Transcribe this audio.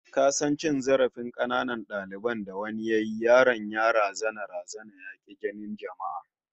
Ka san cewa dalilin cin zarafin kananan dalibin da wani yayi, yaron ya razana razana ya ki jinin jama'a?